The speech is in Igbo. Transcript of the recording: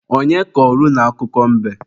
Onye kọrọ unu akụkọ mbe?